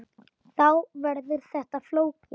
Þá verður þetta flókið.